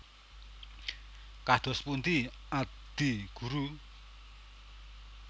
Kados pundi Adi Guru